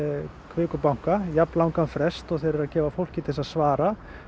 Kviku banka jafn langan frest og þeir eru að gefa fólki til að svara